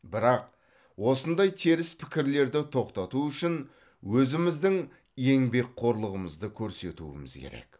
бірақ осындай теріс пікірлерді тоқтату үшін өзіміздің еңбекқорлығымызды көрсетуіміз керек